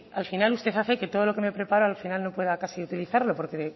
al final usted hace que todo lo que me preparo al final no pueda casi utilizarlo porque